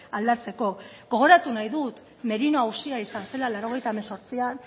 aldatzeko gogoratu nahi dut merino auzia izan zela laurogeita hemezortzian